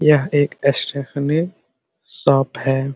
यह एक stationery shop है ।